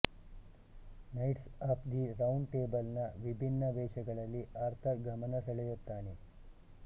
knights of the round table ನ ವಿಭಿನ್ನ ವೇಷಗಳಲ್ಲಿ ಆರ್ಥರ್ ಗಮನಸೆಳೆಯುತ್ತಾನೆ